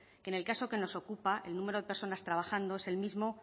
en el caso que nos ocupa el número de personas trabajando es el mismo